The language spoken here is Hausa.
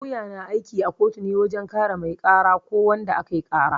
Lauya na aiki a kotu ne wajen kare mai ƙara ko wanda ake ƙara